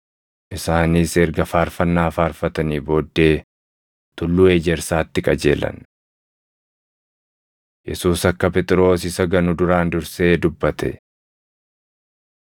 Isaanis erga faarfannaa faarfatanii booddee Tulluu Ejersaatti qajeelan. Yesuus Akka Phexros Isa Ganu Duraan Dursee Dubbate 26:31‑35 kwf – Mar 14:27‑31; Luq 22:31‑34